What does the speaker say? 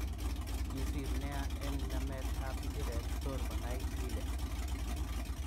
Kisir nea eng namet ab mbiret tor konai Lille.